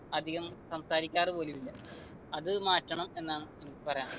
അധികം സംസാരിക്കാറു പോലു ഇല്ല അത് മാറ്റണം എന്നാണ് എനിക്ക് പറയാനുള്ളെ